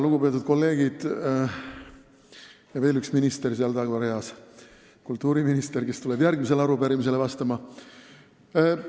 Lugupeetud kolleegid ja veel üks minister seal tagareas – kultuuriminister, kes tuleb järgmisele arupärimisele vastama!